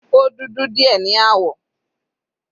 Ó dudu díẹ̀ ní àwọ̀.